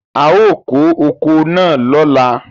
A ó kó oko náà lóla.